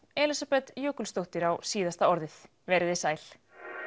Elísabet Jökulsdóttir á síðasta orðið veriði sæl